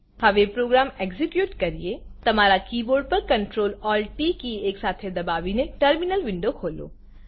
હવે program execute કરીએ તમારા કીબોર્ડ પર Ctrl Alt ટી કી એકસાથે દબાવી ટર્મિનલ વિન્ડો ખોલો